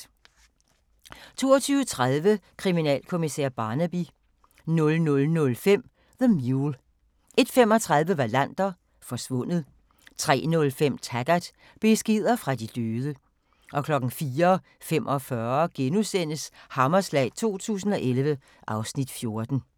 22:30: Kriminalkommissær Barnaby 00:05: The Mule 01:35: Wallander: Forsvundet 03:05: Taggart: Beskeder fra de døde 04:45: Hammerslag 2011 (Afs. 14)*